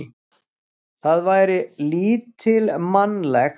Það væri lítilmannlegt.